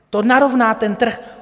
To narovná ten trh.